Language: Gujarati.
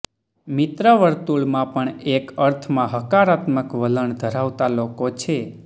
મિત્રવર્તુળમાં પણ એક અર્થમાં હકારાત્મક વલણ ધરાવતા લોકો છે